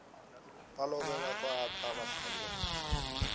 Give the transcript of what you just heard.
balobe bakwata abadlali bebholo